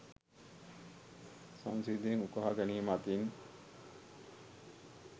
සංසිද්ධීන් උකහා ගැනීම අතින්